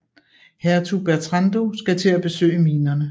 Hertug Bertrando skal til at besøge minerne